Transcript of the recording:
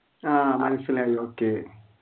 ആഹ് മനസിലായി okay